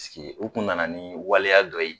Paseke u kun nana ni waleya dɔ yen